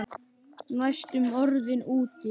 Næstum orðinn úti